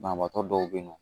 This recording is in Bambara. Banabaatɔ dɔw be yen nɔ